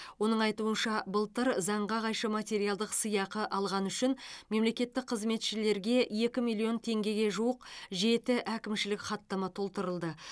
оның айтуынша былтыр заңға қайшы материалдық сыйақы алғаны үшін мемлекеттік қызметшілерге екі миллион теңгеге жуық жеті әкімшілік хаттама толтырылды